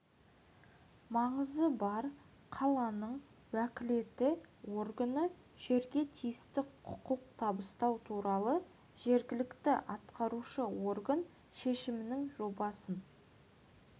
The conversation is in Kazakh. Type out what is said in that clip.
маңызы бар қаланың уәкілетті органы жерге тиісті құқық табыстау туралы жергілікті атқарушы орган шешімінің жобасын